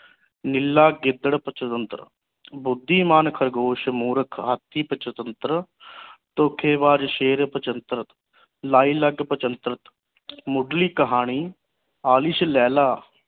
ਨੀਲਾ ਗਿੱਦੜ ਪਚੰਤਾਰੰਤ ਬੁੱਧੀਮਾਨ ਖਰਗੋਸ਼ ਮੂਰਖ ਹਾਥੀ ਧੋਖੇਬਾਜ਼ ਸ਼ੇਰ ਪਚੰਤਾਰੰਤ ਲਾਈਲਗ ਪਚੰਤਾਰੰਤ ਮੁਢਲੀ ਕਹਾਣੀ ਆਲਿਸ਼ ਲੇਲਾ